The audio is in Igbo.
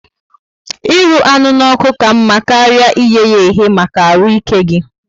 Ịrụ anụ n'oku ka mma karịa iyeya ehe maka arụ ike gi